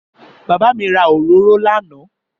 Bàbá mi ra òróró lánàá.